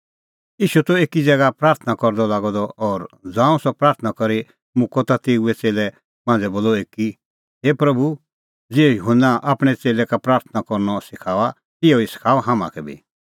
ईशू त एकी ज़ैगा प्राथणां करदअ लागअ द और ज़ांऊं सह प्राथणां करी मुक्कअ ता तेऊए च़ेल्लै मांझ़ै बोलअ एकी हे प्रभू ज़िहअ युहन्ना आपणैं च़ेल्लै का प्राथणां करनअ सखाऊअ तिहअ ई सखाऊ हाम्हां का बी